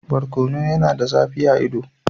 Barkono yana da zafi a ido.